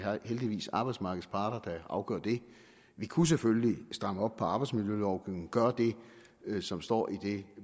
heldigvis er arbejdsmarkedets parter der afgør det vi kunne selvfølgelig stramme op på arbejdsmiljølovgivningen gøre det som står i det